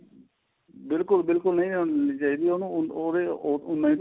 ਬਿਲਕੁਲ ਬਿਲਕੁਲ ਨਹੀਂ ਹੋਣੀ ਚਾਹੀਦੀ ਉਹਨੂੰ ਉਹਦੇ ਉੰਨਾ